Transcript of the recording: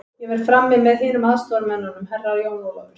Ég verð frammi með hinum aðstoðarmönnunum, Herra Jón Ólafur.